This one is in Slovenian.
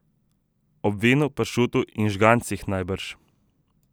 Ob vinu, pršutu in žgancih najbrž.